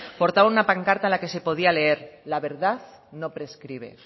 portaban una pancarta en la que se podía leer la verdad no prescribe